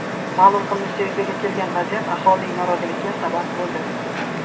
Ma’lum qilinishicha, yuzaga kelgan vaziyat aholining noroziligiga sabab bo‘ldi.